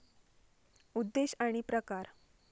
उद्देश आणि प्रकार